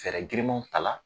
Fɛɛrɛ girimanw ta la.